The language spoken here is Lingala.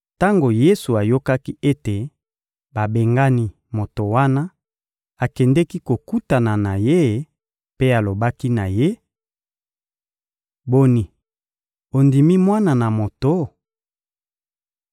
Tango Yesu ayokaki ete babengani moto wana, akendeki kokutana na ye mpe alobaki na ye: — Boni, ondimi Mwana na Moto?